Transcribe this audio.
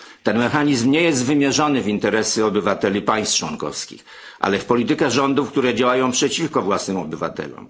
Ten mechanizm nie jest wymierzony w interesy obywateli państw członkowskich, ale w politykę rządów, które działają przeciwko własnym obywatelom.